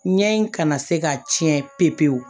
Ɲɛ in kana se ka ciɲɛ pe pewu